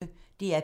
DR P1